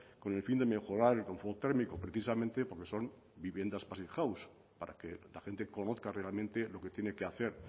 con el fin de mejorar el confort térmico precisamente porque son viviendas passivhaus para que la gente conozca realmente lo que tiene que hacer